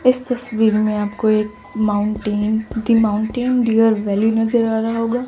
इस तस्वीर में आपको एक mountain the mountain deer valley नजर आ रहा होगा।